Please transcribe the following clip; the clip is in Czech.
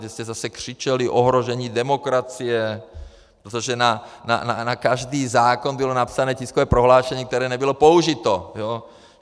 Tehdy jste zase křičeli: ohrožení demokracie, protože na každý zákon bylo napsané tiskové prohlášení, které nebylo použito.